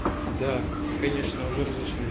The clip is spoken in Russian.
да конечно уже разошли